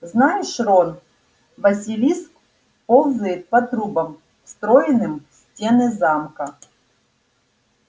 знаешь рон василиск ползает по трубам встроенным в стены замка